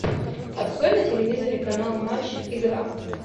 открой на телевизоре канал матч игра